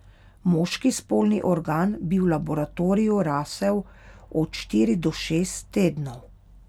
Moški spolni organ bi v laboratoriju rasel od štiri do šest tednov.